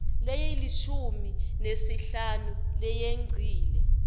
lelishumi nesihlanu leyengcile